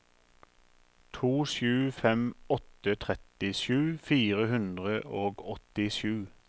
to sju fem åtte trettisju fire hundre og åttisju